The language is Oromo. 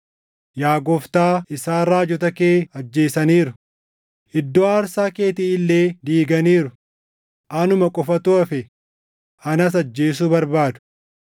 “Yaa Gooftaa isaan raajota kee ajjeesaniiru; iddoo aarsaa keetii illee diiganiiru; anuma qofatu hafe; anas ajjeesuu barbaadu.” + 11:3 \+xt 1Mt 19:10,14\+xt*